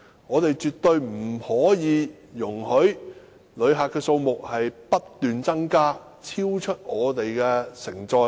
我們絕對不可以容許旅客數目不斷增加，超出香港的承載力。